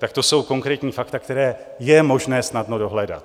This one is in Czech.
Tak to jsou konkrétní fakta, která je možné snadno dohledat.